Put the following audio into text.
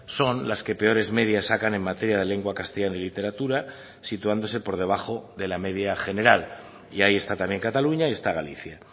son las que peores medias sacan en materia de lengua castellana y literatura situándose por debajo de la media general y ahí está también cataluña y está galicia